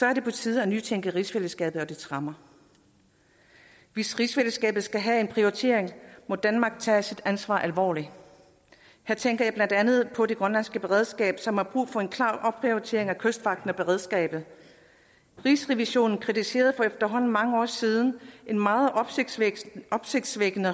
er det på tide at nytænke rigsfællesskabet og dets rammer hvis rigsfællesskabet skal prioriteres må danmark tage sit ansvar alvorligt her tænker jeg blandt andet på det grønlandske beredskab som har brug for en klar opprioritering af kystvagten og beredskabet rigsrevisionen kritiserede for efterhånden mange år siden i meget opsigtsvækkende opsigtsvækkende